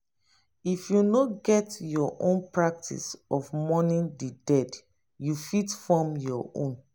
if you no get your own practice of mourning di dead you fit form your own